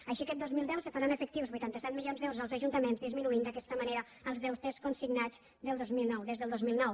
així aquest dos mil deu se faran efectius vuitanta set milions d’euros als ajuntaments i disminuiran d’aquesta manera els deutes consignats des del dos mil nou